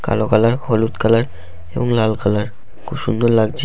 কালো কালার হলুদ কালার এবং লাল কালার খুব সুন্দর লাগছে--